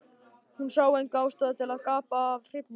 Hún sá enga ástæðu til að gapa af hrifningu.